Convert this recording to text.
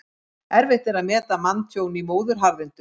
Erfitt er að meta manntjón í móðuharðindum.